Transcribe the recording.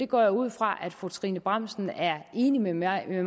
går ud fra at fru trine bramsen er enig med mig i at